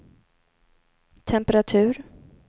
temperatur